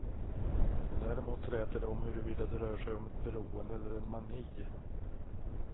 Däremot träter de om huruvida det rör sig om ett beroende eller en mani.